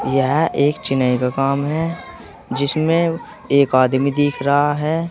यह एक चिनई का काम है जिसमें एक आदमी दिख रहा है।